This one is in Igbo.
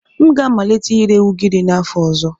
M ga-amalite ire ugiri n'afọ ọzọ.